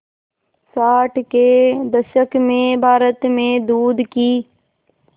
साठ के दशक में भारत में दूध की